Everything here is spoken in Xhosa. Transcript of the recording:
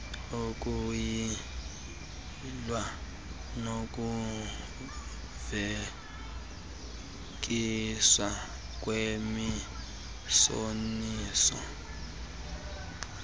ukuyilw nokuveliswa kwemiboniso